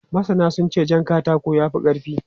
Masana sun ce jan katako ya fi ƙarfi.